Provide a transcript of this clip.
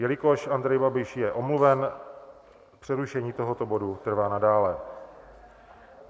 Jelikož Andrej Babiš je omluven, přerušení tohoto bodu trvá nadále.